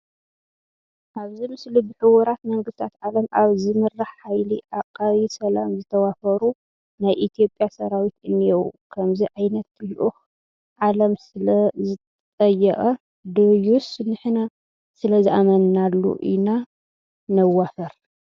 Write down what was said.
ኣብዚ ምስሊ ብሕቡራት መንግስታት ዓለም ኣብ ዝምራሕ ሓይሊ ዓቃቢ ሰላም ዝተዋፈሩ ናይ ኢትዮጵያ ሰራዊት እኔዉ፡፡ ከምዚ ዓይነት ልኡኽ ዓለም ስለዝጠየቐ ድዩስ ንሕና ስለዝኣመንናሉ ኢና ነዋፍር?